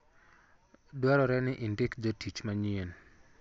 Dwarore ni indik jotich manyien